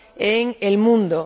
en el mundo.